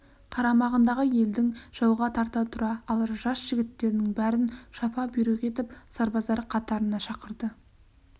қарамағындағы елдің жауға қарсы тұра алар жас жігіттерінің бәрін шапа-бұйрық беріп сарбаздар қатарына шақырды